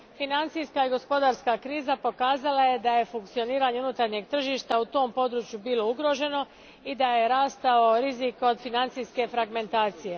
Financijska i gospodarska kriza pokazala je da je funkcioniranje unutarnjeg tržišta na tom području bilo ugroženo i da je rastao rizik od financijske fragmentacije.